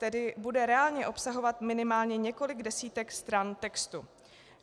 Tedy bude reálně obsahovat minimálně několik desítek stran textu.